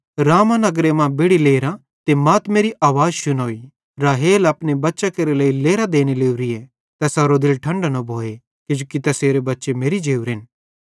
रामाह नगर मां बेड़ि लेरां ते मातमेरि आवाज़ शुनोई राहेल अपने बच्चां केरे लेइ लेरां देने लोरी तैसारो दिल ठंडो न भोए किजोकि तैसेरे बच्चे मेरि जोरन